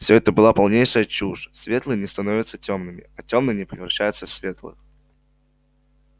все это была полнейшая чушь светлые не становятся тёмными а тёмные не превращаются в светлых